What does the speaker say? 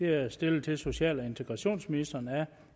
er stillet til social og integrationsministeren af